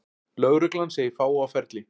Lögreglan segir fáa á ferli